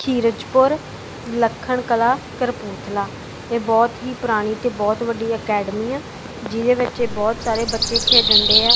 ਕਿਰਚਪੁਰ ਲੱਖਣ ਕਲਾ ਕਪੂਰਥਲਾ ਇਹ ਬਹੁਤ ਹੀ ਪੁਰਾਣੀ ਤੇ ਬਹੁਤ ਵੱਡੀ ਅਕੈਡਮੀ ਆ ਜਿਹਦੇ ਵਿੱਚ ਇਹ ਬਹੁਤ ਸਾਰੇ ਬੱਚੇ ਖੇਡਣਦੇ ਆ।